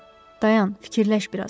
Dayan, fikirləş biraz.